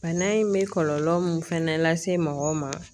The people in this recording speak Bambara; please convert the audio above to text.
Bana in bɛ kɔlɔlɔ min fana lase mɔgɔw ma